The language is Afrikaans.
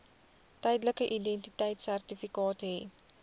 tydelike identiteitsertifikaat hê